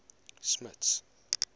smuts